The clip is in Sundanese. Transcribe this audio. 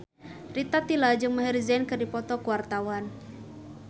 Rita Tila jeung Maher Zein keur dipoto ku wartawan